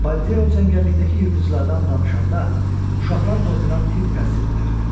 Baldeo cəngəllikdəki yırtıcılardan danışanda uşaqlar qorxudan tir-tir əsirdilər.